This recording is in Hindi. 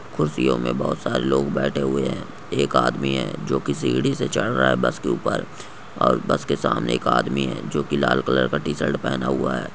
खुर्सियों में बहुत सारे लोग बैठे हुए है एक आदमी है जो की सीढ़ी से चढ़ रहा है बस के ऊपर और बस के सामने एक आदमी है जो की लाल कलर का टी-शर्ट पेहना हुआ है।